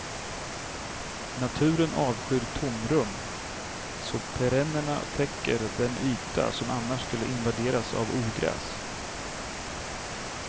Naturen avskyr tomrum så perennerna täcker den yta som annars skulle invaderas av ogräs.